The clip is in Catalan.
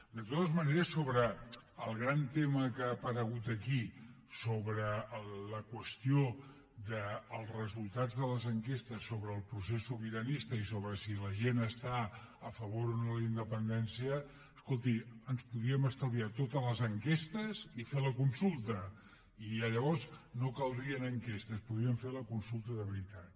de totes maneres sobre el gran tema que ha aparegut aquí sobre la qüestió dels resultats de les enquestes sobre el procés sobiranista i sobre si la gent està a favor o no de la independència escolti ens podríem estalviar totes les enquestes i fer la consulta i llavors no caldrien enquestes podríem fer la consulta de veritat